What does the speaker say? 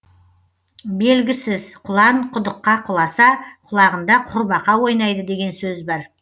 белгісіз құлан құдыққа құласа құлағында құрбақа ойнайды деген сөз бар